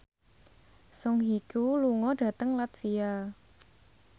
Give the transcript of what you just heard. Song Hye Kyo lunga dhateng latvia